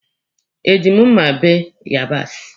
Eji m mma bee yabasi?